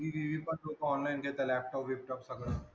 TV बीव्ही पण लोकं online घेतायत laptop बिपटॉप सगळं.